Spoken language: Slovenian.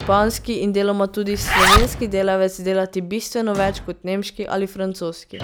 španski in deloma tudi slovenski delavec delati bistveno več kot nemški ali francoski.